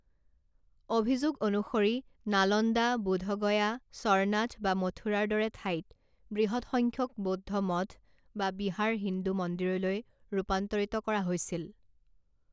অভিযোগ অনুসৰি নালন্দা বোধগয়া সৰনাথ বা মথুৰাৰ দৰে ঠাইত বৃহৎ সংখ্যক বৌদ্ধ মঠ বা বিহাৰ হিন্দু মন্দিৰলৈ ৰূপান্তৰিত কৰা হৈছিল।